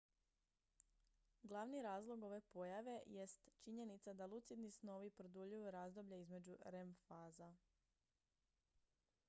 glavni razlog ove pojave jest činjenica da lucidni snovi produljuju razdoblje između rem faza